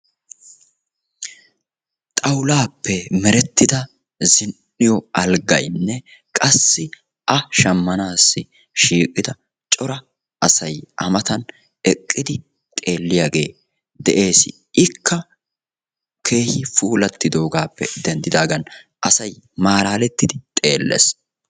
xawulaappe merettida zin"iyo alggaynne qassi a shammanaassi shiiqida cora asay amatan eqqidi xeelliyaagee de'ees ikka keehi puulattidoogaappe denddidaagan asay malaalettidi xeellees